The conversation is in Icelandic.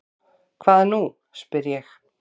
Hvað nú? spyr ég.